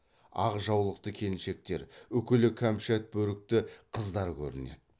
ақ жаулықты келіншектер үкілі кәмшат бөрікті қыздар көрінеді